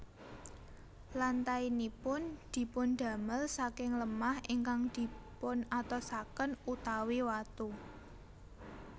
Lantainipun dipundamel saking lemah ingkang dipunatosaken utawi watu